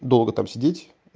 долго там сидеть